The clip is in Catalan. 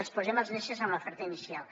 els posem les neses en l’oferta inicial